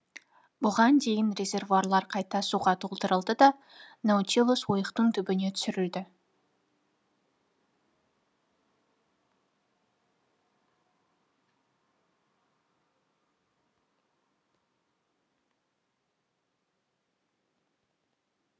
бұдан дейін резервуарлар қайта суға толтырылды да наутилус ойықтың түбіне түсірілді